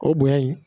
O bonya in